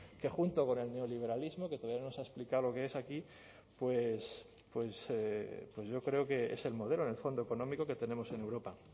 que junto con el neoliberalismo que todavía no nos ha explicado lo que es aquí pues yo creo que es el modelo en el fondo económico que tenemos en europa